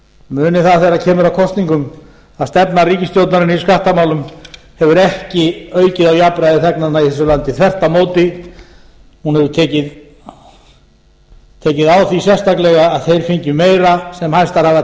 muni það þegar kemur að kosningum að stefna ríkisstjórnarinnar í skattamálum hefur ekki aukið á jafnræði þegnanna í þessu landi verði á móti hún hefur tekið á því sérstaklega að þeir fengju meira sem hæstar hafa